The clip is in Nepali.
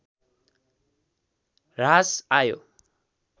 ह्रास आयो